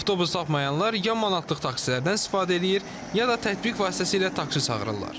Avtobus tapmayanlar ya manatlıq taksilərdən istifadə eləyir, ya da tətbiq vasitəsilə taksi çağırırlar.